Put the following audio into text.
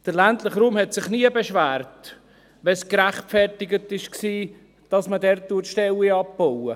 Der ländliche Raum hat sich nie beschwert, dass man dort Stellen abbaut, wenn es gerechtfertigt war.